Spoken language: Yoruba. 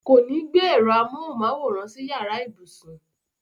Kò ní gbé ẹ̀rọ amóhùnmáwòrán sí yàrá ibùsùn.